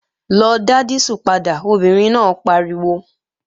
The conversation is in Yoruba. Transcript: Lọ dá dísù padà, obìnrin náà pariwo!